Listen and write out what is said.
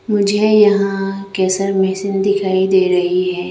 मुझे यहां केशर मशीन दिखाई दे रही है।